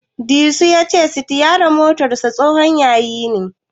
Disu ya ce sitiyarin motarsa tsohon yayi ne.